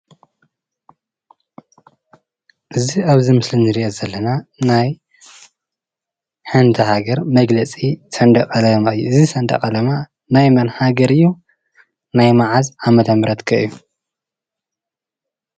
እዚ ኣብዚ ምስሊ እንሪኦ ዘለና ናይ ሓንቲ ሃገር መግለፂ ሰንድቕ ዓላማ እዩ። እዚ ሰንዽቕ ዓላማ ናይ መን ሃገር እዩ? ናይ ምዓዝ ዓ/ም ከ እዩ?